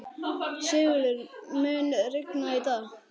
Sigurður, mun rigna í dag?